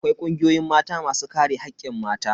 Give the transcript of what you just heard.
Akwai kungiyoyin Mata masu kare hakkin mata.